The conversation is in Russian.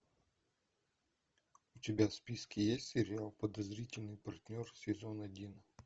у тебя в списке есть сериал подозрительный партнер сезон один